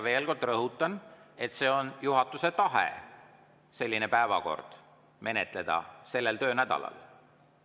Veel kord rõhutan, et juhatuse tahe oli seda päevakorda menetleda sellel töönädalal.